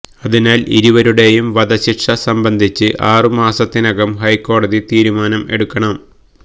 അതിനാല് ഇരുവരുടെയും വധശിക്ഷ സംബന്ധിച്ച് ആറു മാസത്തിനകം ഹൈക്കോടതി തീരുമാനം എടുക്കണം